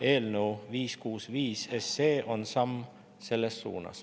Eelnõu 565 on samm selles suunas.